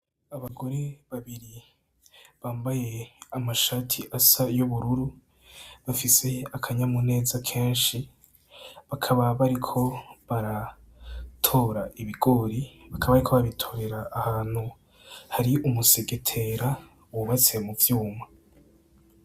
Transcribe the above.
Abagore babiri bambaye amashati asa y'ubururu bafise akanyamuneza kenshi, bakaba bariko baratora ibigori, bakaba bariko babitorera ahantu hari umusegetera wubatse mu vyuma.